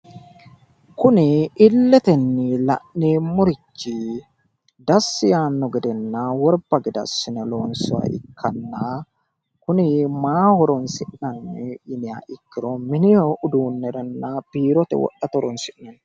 Kuni illetenni la'neemmorichi dassi yaanno gedenna worba gede assine loonsoonniha ikkanna kuni maa horosi'nanni yiniha ikkiro mini uduunniranna biirote wodhate horonsi'neemmo.